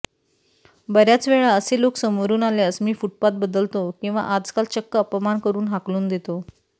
बर्याचवेळा असे लोक समोरून आल्यास मी फुटपाथ बदलतो किंवा आजकाल चक्क अपमान करून हाकलुन देतो